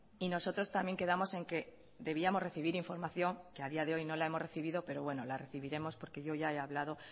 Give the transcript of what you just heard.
y nosotros también quedamos en que debíamos recibir información que a día de hoy no la hemos recibido pero bueno la recibiremos porque yo ya he hablado